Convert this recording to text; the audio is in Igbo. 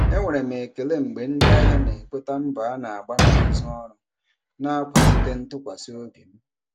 Enwere m ekele mgbe ndị ahịa na-ekweta mbọ a na-agba n'azụ ọrụ, na-akwalite ntụkwasị obi m.